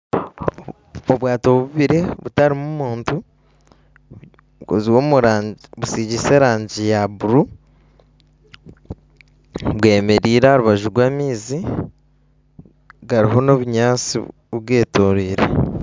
Obwaato bubiri butarimu muntu busiigise erangi ya buru, bwemereire aha rubaju rw'amaizi gariho n'obunyaatsi bugetoriire